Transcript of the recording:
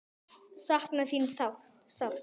Sakna þín sárt.